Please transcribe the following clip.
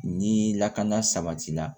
Ni lakana sabati la